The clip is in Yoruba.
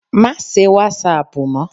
Má se wàsáàpù mọ́